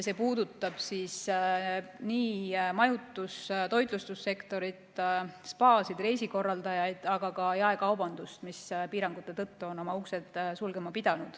See puudutab nii majutus- ja toitlustussektorit, spaasid ja reisikorraldajaid, aga ka jaekaubandust, mis on piirangute tõttu pidanud oma uksed sulgema.